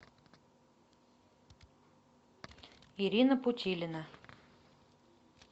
ирина путилина